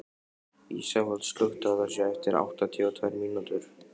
Ísafold, slökktu á þessu eftir áttatíu og tvær mínútur.